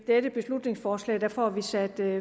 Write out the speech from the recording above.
dette beslutningsforslag får vi sat